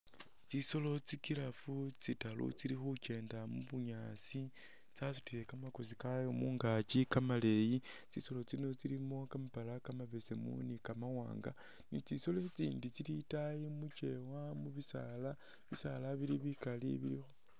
Tsisolo tsi'giraffe tsili tsitaaru tsili khukyenda mubunyaasi tsasutile kamakoosi kaayo mungaaki kamaleeyi, tsisoolo tsino tsilimo kamapaala kamabeseemu ne kamawaanga ne tsisoolo tsitsindi tsili itaayi mukyeewa mubisaala bili bikaali bili..